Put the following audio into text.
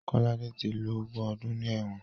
Kolade ti lo ogún ọdún ní ẹ̀wọ̀n